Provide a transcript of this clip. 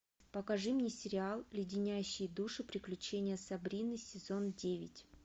покажи мне сериал леденящие души приключения сабрины сезон девять